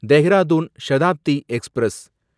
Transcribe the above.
Dehradun Shatabdi express